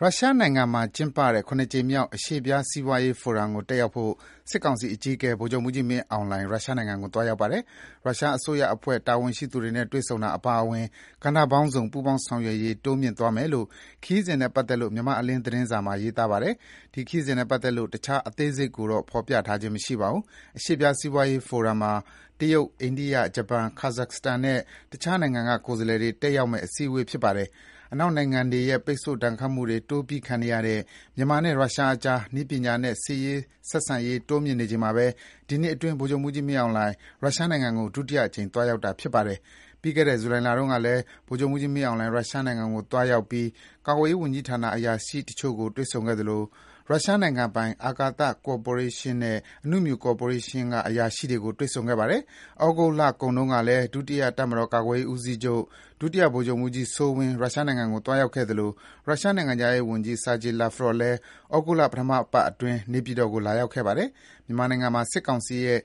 ရုရှားနိုင်ငံမှာ ကျင်းပတဲ့ ၇ ကြိမ်မြောက် အရှေ့ဖျားစီးပွားရေးဖိုရမ်ကို တက်ရောက် ဖို့ စစ်ကောင်စီအကြီးအကဲ ဗိုလ်ချုပ်မှူးကြီး မင်းအောင်လှိုင် ရုရှားနိုင်ငံကို သွားရောက်ပါတယ်။ ရုရှားအစိုးရအဖွဲ့ တာဝန်ရှိသူတွေနဲ့ တွေ့ဆုံတာအပါအဝင် ကဏ္ဍပေါင်းစုံ ပူးပေါင်းဆောင်ရွက်ရေးတိုးမြှင့်သွားမယ်လို့ ခရီးစဉ်နဲ့ပတ်သက်လို့ မြန်မာ့အလင်း သတင်းစာ မှာ ရေးပါတယ်။ ခရီးစဉ်နဲ့ပတ်သက်လို့ တခြားအသေးစိတ်ကိုတော့ ဖေါ်ပြထားခြင်းမရှိပါဘူး။ အရှေ့ဖျားစီးပွားရေးဖိုရမ်မှာ တရုတ်၊ အိန္ဒိယ၊ ဂျပန်၊ Kazakhstan နဲ့ တခြားနိုင်ငံက ကိုယ်စားလှယ်တွေ တက်ရောက်မယ့် အစည်းအဝေးဖြစ်ပါတယ်။ အနောက်နိုင်ငံတွေနဲ့ ပိတ်ဆို့ဒဏ်ခတ်မှုတွေ တိုးပြီးခံနေရတဲ့ မြန်မာနဲ့ ရုရှားအကြား နည်းပညာနဲ့ စစ်ရေး ဆက်ဆံရေးတိုးမြှင့်နေချိန်မှာပဲ ဒီနှစ်အတွင်း ဗိုလ်ချုပ်မှူးကြီးမင်းအောင်လှိုင် ရုရှားနိုင်ငံကို ဒုတိယအကြိမ်သွားရောက်တာပါ။ ဂျုလိုင်လတုန်းကလည်း ဗိုလ်ချုပ်မှူးကြီးမင်းအောင်လှိုင် ရုရှားနိုင်ငံကို သွားရောက်ပြီး ကာကွယ်ရေးဝန်ကြီးဌာနအရာရှိတချို့ကို တွေ့ဆုံခဲ့သလို ရုရှားနိုင်ငံပိုင် အာကာသ ကော်ပိုရေးရှင်းနဲ့ အနုမြူကော်ပိုရေးရှင်းက အရာရှိတွေကို တွေ့ဆုံခဲ့ပါတယ်။ သြဂုတ်လကုန်တုန်းကလည်း ဒုတိယ တပ်မတော်ကာကွယ်ရေး ဦးစီးချုပ် ဗိုလ်ချုပ်မှူးကြီးစိုးဝင်း ရုရှားနိုင်ငံကိုသွားရောက်ခဲ့သလို ရုရှား နိုင်ငံခြားရေးဝန်ကြီး Sergei Lavrov လည်း သြဂုတ်လ ပထပတ်အတွင်း နေပြည်တော်ကို လာရောက် ခဲ့ပါတယ်။ မြန်မာနိုင်ငံမှာ စစ်ကောင်စီရဲ့